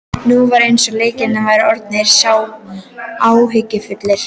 Nú var eins og Leiknir væri orðinn sá áhyggjufulli.